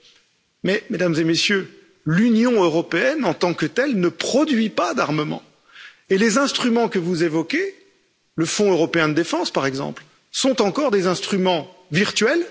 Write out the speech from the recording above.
Cependant, Mesdames et Messieurs, l'Union européenne en tant que telle ne produit pas d'armement et les instruments que vous évoquez, le Fonds européen de défense par exemple, sont encore des instruments virtuels.